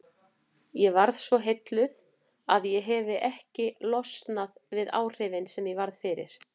Ég varð svo heilluð að ég hefi ekki losnað við áhrifin sem ég varð fyrir.